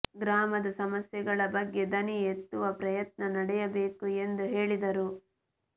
ಗ್ರಾಮದ ಸಮಸ್ಯೆಗಳ ಬಗ್ಗೆ ದನಿ ಎತ್ತುವ ಪ್ರಯತ್ನ ನಡೆಯಬೇಕು ಎಂದು ಹೇಳಿದರು